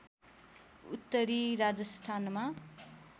उत्तरी राजस्थानमा